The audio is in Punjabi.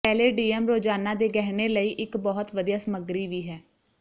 ਪੈਲੇਡੀਅਮ ਰੋਜ਼ਾਨਾ ਦੇ ਗਹਿਣੇ ਲਈ ਇੱਕ ਬਹੁਤ ਵਧੀਆ ਸਮਗਰੀ ਵੀ ਹੈ